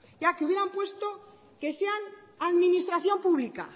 ya que hubieran puesto que sean administración pública